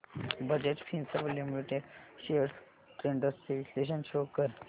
Bajaj Finserv limited shares trends चे विश्लेषण show कर